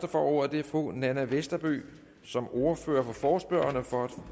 får ordet er fru nanna westerby som ordfører for forespørgerne for at